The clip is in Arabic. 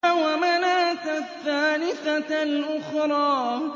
وَمَنَاةَ الثَّالِثَةَ الْأُخْرَىٰ